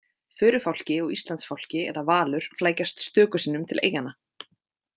Förufálki og Íslandsfálki eða valur flækjast stöku sinnum til eyjanna.